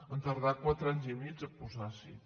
han tardat quatre anys i mig a posar s’hi